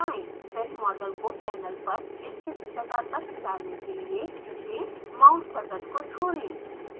फिर मॉडल को पैनल पर इच्छित जगह तक लाने के लिए खींचें